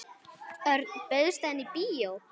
Örn, bauðstu henni í bíó?